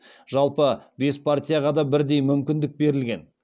жалпы бес партияға да бірдей мүмкіндік берілген